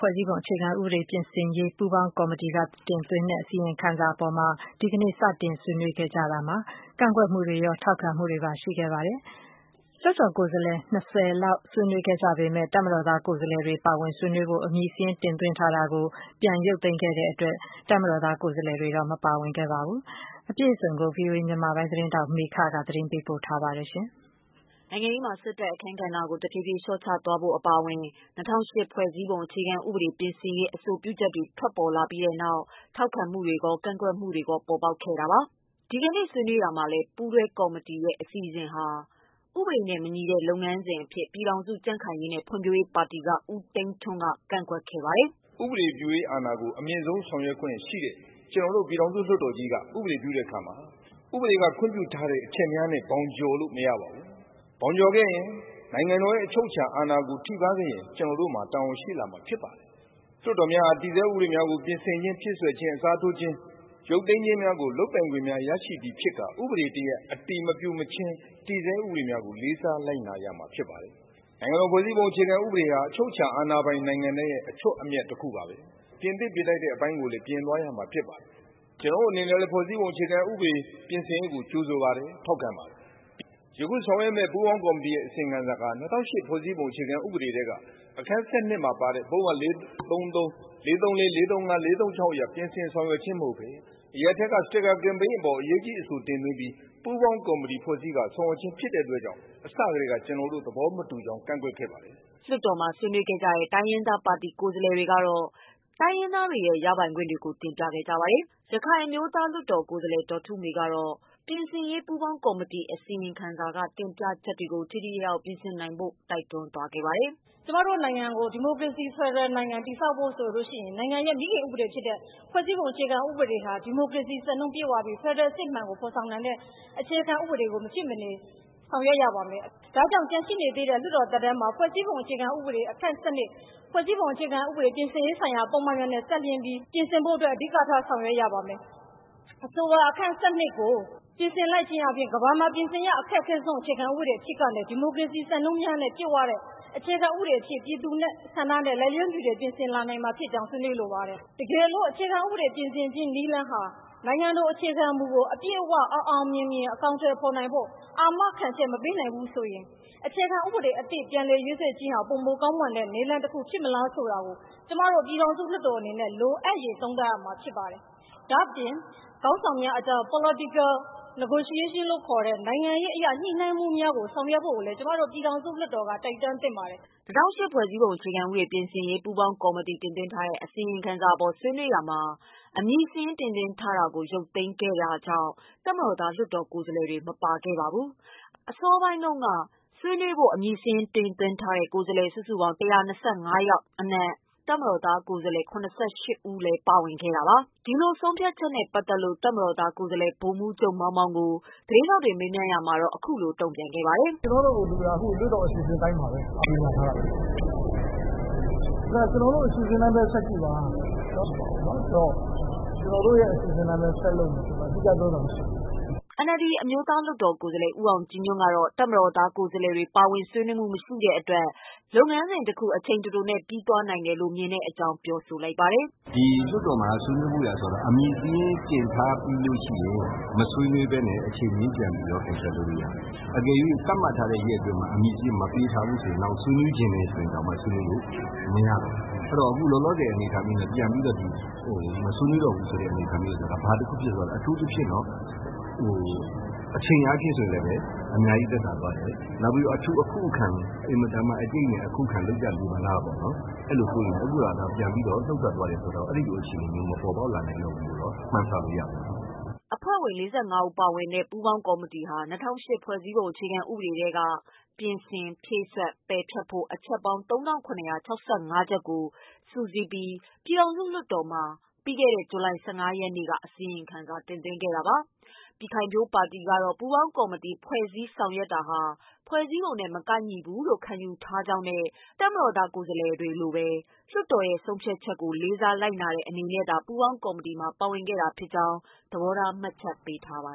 ဖွဲ့စည်းပုံအခြေခံဥပဒေ ပြင်ဆင်ရေး ပူးပေါင်းကော်မတီတင်သွင်းထားတဲ့ အစီရင်ခံစာအပေါ် ဒီကနေ့ စတင်ဆွေးနွေးရာမှာ ကန့်ကွက်မှုတွေရော၊ ထောက်ခံမှုတွေပါ ရှိခဲ့ပါတယ်။ လွှတ်တော်ကိုယ်စားလှယ် ၂၀ လောက် ဆွေးနွေးခဲ့ကြပေမဲ့ ပါဝင်ဆွေးနွေးဖို့ အမည်စာရင်း တင်သွင်းထားတာကို ရုပ်သိမ်းထားတဲ့အတွက် တပ်မတော်သား ကိုယ်စားလှယ်တွေတော့ မပါဝင်ခဲ့ပါဘူး။ အပြည့်အစုံကိုတာ့ ဗွီအိုအေ မြန်မာပိုင်း သတင်းထောက် မေခက သတင်းပေးပို့ထားပါတယ်။ နိုင်ငံရေးမှာ စစ်တပ်ရဲ့ အခန်းကဏ္ဍကို တဖြည်းဖြည်း လျှော့ချသွားဖို့ အပါအဝင် ၂၀၀၈ ဖွဲ့စည်းပုံ အခြေခံဥပဒေ ပြင်ဆင်ရေး အဆိုပြုချက်တွေ ထွက်လာပြီးနောက် ထောက်ခံမှုတွေ၊ ကန့်ကွက်မှုတွေ ပေါ်ပေါက်နေတာပါ။ ဒီကနေ့ ဆွေးနွေးရာမှာလည်း ပူးတွဲကော်မတီရဲ့ အစီအစဉ်ဟာ ဥပဒေနဲ့ မညီတဲ့ လုပ်ငန်းစဉ်အဖြစ် ပြည်ထောင်စု ကြံ့ခိုင်ရေးနဲ့ ဖွံ့ဖြိုးရေးပါတီက ဦးသိန်းထွန်း က ကန့်ကွက်ခဲ့ပါတယ်။ “ဥပဒေပြုအာဏာကို အမြင့်ဆုံးဆောင်ရွက်ခွင့်ရှိတဲ့ ပြည်ထောင်စုလွှတ်တော်ကြီးက ဥပဒေပြုတာမှာ ဥပဒေက ခွင့်ပြုထားတဲ့ အချက်များနဲ့ ဘောင်ကျော်လို့မရပါဘူး။ ဘောင်ကျော်ခဲ့ရင် နိုင်ငံတော်ရဲ့ အချုပ်အခြာအာဏာထိပါး ခဲ့ရင် ကျနော်တို့မှာတာဝန်ရှိလာပါလိမ့်မယ်။ လွှတ်တော်များက တည်ဆဲဥပဒေများကို ပြင်ဆင်ခြင်း၊ အစားထိုးခြင်း၊ ဖြည့်စွက်ခြင်း၊ ရုပ်သိမ်းခြင်းများကို လုပ်ပိုင်ခွင့်များရရှိပြီဖြစ်ကာ ဥပဒေ အတည်မပြုမချင်း တည်ဆဲဥပဒေကိုလေးစားကြရပါမယ်။ နိုင်ငံတော် ဖွဲ့စည်းပုံအခြေခံဥပဒေဟာ အချုပ်အခြာအာဏာပိုင်တဲ့နိုင်ငံတိုင်းအတွက် အထွဋ်အမြတ်ပါဘဲ။ ပြင်သင့်ပြင်ထိုက်တာတွေကိုပြင်ဆင်ရမှာပါ။ ကျနော်တို့အနေနဲ့လည်း ဖွဲ့စည်းပုံအခြေခံဥပဒေ ပြင်ဆင်ရေးကို ကြိုဆိုပါတယ်၊ ထောက်ခံပါတယ်။ ယခု ဆောင်ရွက်မယ့် ပူးပေါင်းကော်မတီ အစီရင်ခံစာက၂၀၀၈ ဖွဲ့စည်းပုံအခြေခံဥပဒေ ထဲက အခန်း ၁၂မှာပါတဲ့ ပုဒ်မ ၄၃၃၊ ပုဒ်မ ၄၃၄-၄၃၅- ၄၃၆ တို့ရဲ့ ပြင်ဆင်ဆောင်ရွက်ခြင်းကို အရပ်ထဲက စတစ်ကာကမ်ပိန်းအပေါ် အရေးကြီးအဆိုတင်ပြီး ပူးပေါင်းကော်မတီဖွဲ့စည်းကာ ဆောင်ရွက်ခြင်း ဖြစ်တဲ့အတွက်အစထဲက ကျနော်တို့ သဘောမတူကြောင်း ကန့်ကွက်ခဲ့ပါတယ်။” လွှတ်တော်မှာ ဆွေးနွေးခဲ့ကြတဲ့ တိုင်းရင်းသားပါတီ ကိုယ်စားလှယ်တွေကတော့ တိုင်းရင်းသားတွေရဲ့ ရပိုင်ခွင့်တွေကို တင်ပြခဲ့ကြပါတယ်။ ရခိုင်အမျိုးသားလွှတ်တော်ကိုယ်စားလှယ် ဒေါ်ထုမေကတော့ ပြင်ဆင်ရေး ပူးပေါင်းကော်မတီ အစီရင်ခံစာမှာ တင်ပြချက်တွေကို ထိထိရောက်ရောက် ပြင်ဆင်နိုင်ဖို့ တိုက်တွန်းသွားပါတယ်။ “ကျမတို့နိုင်ငံကို ဒီမိုကရေစီဖက်ဒရယ်နိုင်ငံ တည်ဆောက်ဖို့ ဆိုရင် နိုင်ငံရဲ့ မိခင်ဥပဒေဖြစ်တဲ့ ဖွဲ့စည်းပုံအခြေခံဥပဒေဟာ ဒီမိုကရေစီ စံနှုန်းပြည့်ဝပြီး ဖက်ဒရယ် အစစ်အမှန်ကို ဖော်ဆောင်နိုင်တဲ့ အခြေခံဥပဒေကို မရှိမနေ ဆောင်ရွက်ရပါမယ်။ ဒါကြောင့် ကျန်ရှိနေတဲ့ လွှတ်တော်သက်တမ်းမှာ ဖွဲ့စည်းပုံအခြေခံဥပဒေ အခန်း ၁၂၊ ဖွဲ့စည်းပုံအခြေခံဥပဒေ ပြင်ဆင်ရေးဆိုင်ရာပုဒ်မတွေနဲ့ ပတ်သတ်ပြီး ပြင်ဆင်ဖို့အတွက် အဓိကထားဆောင်ရွက်ရပါမယ်။ အဆိုပါ အခန်း ၁၂ ကို ပြင်ဆင်လိုက်ခြင်းဖြင့်ကမ္ဘာမှာ ပြင်ဆင်ရ အခက်ခဲဆုံး အခြေခံဥပဒေအဖြစ်ကနေ ဒီမိုကရေစီ စံနှုန်းများနဲ့ ပြည့်ဝတဲ့ အခြေခံဥပဒေအဖြစ် ပြည်သူ့ဆန္ဒနဲ့ လိုက်လျောညီထွေ ပြင်ဆင်လာနိုင်မှာဖြစ်ကြောင်း ဆွေးနွေးလိုပါတယ်။ တကယ်လို့ အခြေခံ ဥပဒေ ပြင်ဆင်ခြင်း နည်းလမ်းဟာ နိုင်ငံတော်အခြေခံမှုကို အပြည့်အ၀ အောင်အောင်မြင်မြင် အကောင်အထည်ဖော်နိုင်ဖို့ အာမခံချက် မပေးနိုင်ဘူးဆိုရင် အခြေခံဥပဒေအသစ် ပြန်လည်ရေးဆွဲခြင်းဟာ ပိုမို ကောင်းမွန်တဲ့ နည်းလမ်းတခုဖြစ်မလားဆိုတာ ကျမတို့ ပြည်ထောင်စုလွှတ်တော်အနေနဲ့ လိုအပ်ရင်သုံးသပ်ရမှာဖြစ်ပါတယ်။ ဒါ့အပြင် ခေါင်းဆောင်များအကြား Political negotiation လို့ခေါ်တဲ့ နိုင်ငံရေးအရ ညှိနှိုင်းမှုများကို ဆောင်ရွက်ဖို့ကိုလည်း ကျမတို့ ပြည်ထောင်စုလွှတ်တော်က တိုက်တွန်းသင့်ပါတယ်။” ၂ဝဝ၈ ဖွဲ့စည်းပုံအခြေခံဥပဒေ ပြင်ဆင်ရေးပူးပေါင်းကော်မတီတင်သွင်း ထားတဲ့ အစီ ရင်ခံစာအပေါ် ဆွေးနွေးရာမှာ အမည်စာရင်း တင်သွင်းထားတာကို ရုပ်သိမ်းခဲ့တဲ့ တပ်မတော်သား ကိုယ်စားလှယ် တွေတော့ မပါခဲ့ပါဘူး။ အစောပိုင်းမှာတုန်းက ဆွေးနွေးဖို့ အမည်စာရင်း တင်သွင်းထားတဲ့ ကိုယ်စားလှယ် စုစုပေါင်း ၁၂၅ ယောက်အနက် တပ်မတော်သား ကိုယ်စားလှယ် ၇၈ ဦး လည်းပါဝင်ခဲ့တာပါ။ ဆုံးဖြတ်ချက်နဲ့ ပတ်သက်လို့ တပ်မတော်သား ကိုယ်စားလှယ် ဗိုလ်မှူးချုပ် မောင်မောင်ကို သတင်းထောက်တွေက မေးမြန်းရာမှာတော့ အခုလို တုံ့ပြန်ခဲ့ပါတယ်။ “ကျနော်တို့အစီအစဉ်က လွှတ်တော်အစီအစဉ်အတိုင်းပါဘဲ။ ကြေညာထားတာဘဲလေ။ ကျနော်တို့အစီအစဉ် တိုင်းဘဲဆက်ကြည့်ပါ။ ကျနော်တို့အစီအစဉ်အတိုင်းဘဲဆက်လုပ် မှာဆိုတော့ထူးထူးခြားခြားပြောစရာမရှိပါဘူး” NLD အမျိုးသားလွှတ်တော် ကိုယ်စားလှယ် ဦးအောင်ကြည်ညွှန့် ကတော့ တပ်မတော်သားကိုယ်စားလှယ်တွေ ပါဝင်ဆွေးနွေးမှု မရှိတဲ့ အတွက် လုပ်ငန်းစဉ်တခု အချိန်တိုတိုနဲ့ ပြီးသွားနိုင်တယ်လို့ မြင်တဲ့အကြောင်းပြောပါတယ်။ “လွှတ်တော်မှာ ဆွေးနွေးဖို့ဆိုတာကလည်း အမည်စာရင်းတင်ထားပြီး မဆွေးနွေးပဲနဲ့ အချိန်မရွေး ပြန်ရုပ်သိမ်းလို့ရတယ်။ အကယ်၍သတ်မှတ်ထားတဲ့ ရက်အတွင်းမှာ အမည်စာရင်း မတင်သွင်းရင်နောင် ဆွေးနွေးချင်ရင်တောင်မှ ဆွေးနွေးလို့မရဘူး။ အခုလောလောဆယ် အနေအထားနဲ့ ပြန်ပြီးတော့ မဆွေးနွေးဘူးဆို တာကျတော့ဘာတခုဖြစ်လဲဆိုရင် အချိန်အားဖြင့်အများကြီးသက်သာသွားတယ်။ နောက်အထူးအခုအခံ အတိုက်အခံများဖြစ်မလားပေါ့ အဲလိုစိုးရိမ်တယ်၊ အခုတော့ ပြန်ပြီးတော့ နုတ်ထွက်သွားတယ်ဆိုတော့ အဲလိုအခြေအနေမျိုးမပေါ်ပေါက်လာနိုင်တော့ဘူးလို့ မှန်းဆလို့ရတာပေါ့” အဖွဲ့ဝင် ၄၅ ဦးပါဝင်တဲ့ ပူးပေါင်းကော်မတီဟာ ၂ဝဝ၈ ဖွဲ့စည်းပုံအခြေခံဥပဒေထဲက ပြင်ဆင်၊ ဖြည့်စွက်၊ ပယ်ဖျက်ဖို့ အချက်ပေါင်း ၃၇၆၅ ချက်ကို စုစည်းပြီး ပြည်ထောင်စုလွှတ်တော်မှာ ဇူလိုင်လ ၁၅ ရက်နေ့က အစီရင်ခံစာ တင်သွင်းခဲ့တာပါ။ ပြည်ခိုင်ဖြိုးပါတီကတော့ ပူးပေါင်းကော်မတီ ဖွဲ့စည်းဆောင်ရွက်တာဟာ ဖွဲ့စည်းပုံနဲ့ မကိုက်ညီဘူးလို့ ခံယူထားကြောင်းနဲ့ တပ်မတော်သား ကိုယ်စားလှယ်တွေလိုပဲ လွှတ်တော်ရဲ့ဆုံးဖြတ်ချက်ကို လေးစားလိုက်နာတဲ့ အနေနဲ့သာ ပူးပေါင်းကော်မတီမှာ ပါဝင်ခဲ့တာဖြစ်ကြောင်းလည်း သဘောထား မှတ်ချက်ပေးထားပါ